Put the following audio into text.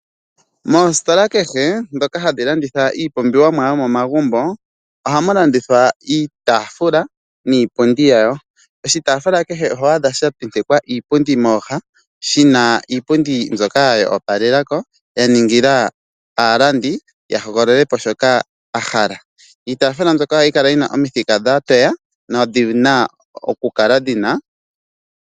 Moositola kehe dhoka hadhi landitha iipumbiwa yomomagumbo, ohamu landithwa iitaafula niipundi yawo. Oshitaafula kehe oho a dha shantentekwa iipundi mooha, shina iipundi mbyoka ya opalela ko ya ningila aalandi yahogolole po shoka a hala. Iitaafula mbyoka ohayi kala yina omithika dha toya.